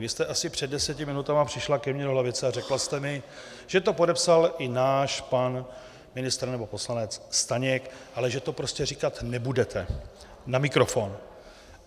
Vy jste asi před deseti minutami přišla ke mně do lavice a řekla jste mi, že to podepsal i náš pan ministr nebo poslanec Staněk, ale že to prostě říkat nebudete na mikrofon.